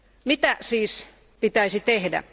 Mitä siis pitäisi tehdä?